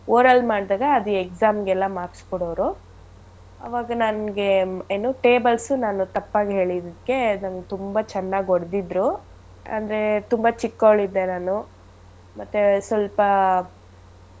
Oral ಮಾಡ್ದಾಗ ಅದ್ exam ಗೆಲ್ಲ marks ಕೊಡೋರು ಆವಾಗ ನನ್ಗೆ ಏನು tables ನಾನು ತಪ್ಪಾಗ್ ಹೇಳಿದಕ್ಕೆ ನನ್ಗ್ ತುಂಬಾ ಚೆನ್ನಾಗ್ ಹೊಡ್ದಿದ್ರು ಅಂದ್ರೆ ತುಂಬಾ ಚಿಕ್ಕೋಳಿದ್ದೆ ನಾನು ಮತ್ತೇ ಸ್ವಲ್ಪ.